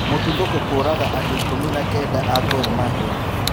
Mũtuthũko kũraga andũ ikũmi na kenda a Gormahia